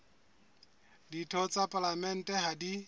ditho tsa palamente ha di